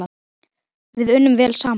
Við unnum vel saman.